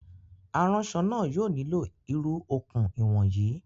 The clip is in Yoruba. Aránsọ náà yóò nílò irú okùn ìwọ̀n yìí